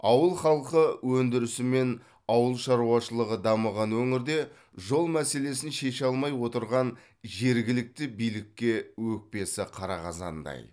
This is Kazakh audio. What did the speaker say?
ауыл халқы өндірісі мен ауыл шаруашылығы дамыған өңірде жол мәселесін шеше алмай отырған жергілікті билікке өкпесі қара қазандай